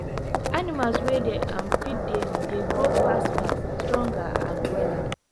animals wey dey um feed daily dey grow faster faster stronger and wella